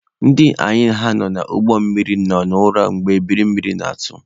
Ndị anyị na ha nọ n'ụgbọ nọ n'ura mgbe ebiri mmiri na-atụ.